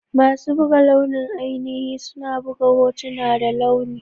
Masu buga launi ainihi suna buga hotuna da launi.